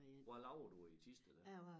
Hvad laver du i Thisted dér?